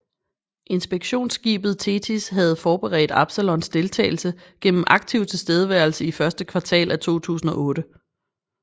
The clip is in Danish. Inspektionsskibet Thetis havde forberedt Absalons deltagelse gennem aktiv tilstedeværelse i første kvartal af 2008